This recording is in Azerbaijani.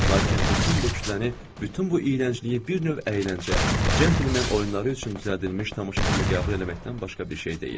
Lakin bütün bu kütləni, bütün bu iyrəncliyi bir növ əyləncə, centlmen oyunları üçün düzəldilmiş tamaşa kimi qəbul eləməkdən başqa bir şey deyil.